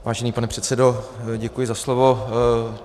Vážený pane předsedo, děkuji za slovo.